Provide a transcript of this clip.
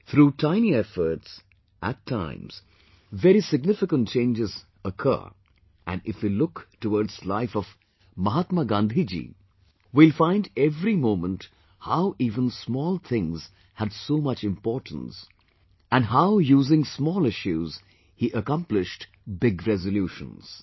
Through tiny efforts, at times, very significant changes occur, and if we look towards the life of Mahatma Gandhi ji we will find every moment how even small things had so much importance and how using small issues he accomplished big resolutions